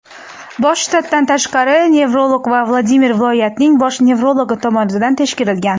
bosh shtatdan tashqari nefrolog va Vladimir viloyatining bosh nevrologi tomonidan tekshirilgan.